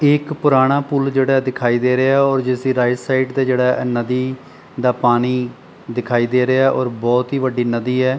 ਇਹ ਇੱਕ ਪੁਰਾਣਾ ਪੁੱਲ ਜਿਹੜਾ ਦਿਖਾਈ ਦੇ ਰਿਹਾ ਔਰ ਜਿਸਦੀ ਰਾਈਟ ਸਾਈਡ ਤੇ ਜਿਹੜਾ ਨਦੀ ਦਾ ਪਾਣੀ ਦਿਖਾਈ ਦੇ ਰਿਹਾ ਔਰ ਬਹੁਤ ਹੀ ਵੱਡੀ ਨਦੀ ਹੈ।